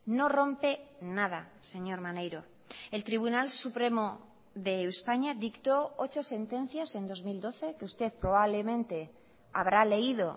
no rompe nada señor maneiro el tribunal supremo de españa dictó ocho sentencias en dos mil doce que usted probablemente habrá leído